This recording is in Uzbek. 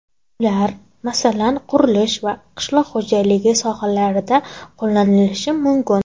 Ular, masalan, qurilish va qishloq xo‘jaligi sohalarida qo‘llanilishi mumkin.